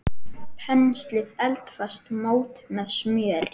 Penslið eldfast mót með smjöri.